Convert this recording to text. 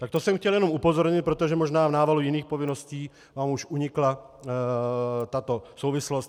Tak to jsem chtěl jen upozornit, protože možná v návalu jiných povinností vám už unikla tato souvislost.